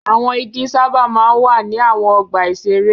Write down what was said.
Àwọn igi sábà máa ń wà ní àwọn ọgbà-ìṣeré.